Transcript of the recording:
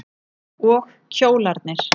Og kjólarnir.